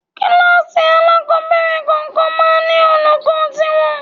Kíláàsì alákọ̀ọ́bẹ̀rẹ̀ kọ̀ọ̀kan máa ń ní olùkọ́ tí wọn.